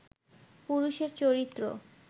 পুরুষের চরিত্র